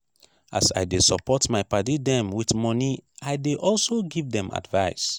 as i dey support my paddy dem wit moni i dey also give dem advice.